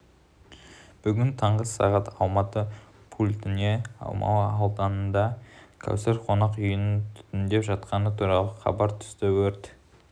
бүгін таңғы сағат алматы пультіне алмалы ауданындағы кәусар қонақ үйінің түтіндеп жатқаны туралы хабар түсті өрт